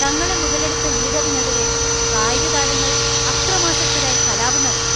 തങ്ങളെ മുതലെടുത്ത ലീഡറിനെതിരെ കായിക താരങ്ങൾ അക്രമാസക്തരായി കലാപം നടത്തി.